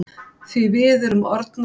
Því við erum orðnar.